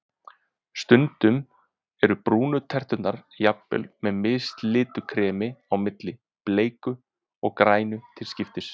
Stundum eru brúnu terturnar jafnvel með mislitu kremi á milli, bleiku og grænu til skiptis.